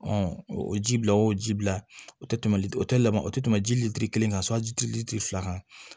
o ji bila o ji bila o tɛ tɛmɛ o tɛ lamɔ tɛ tɛmɛ ji lili kan sɔnji litiri fila kan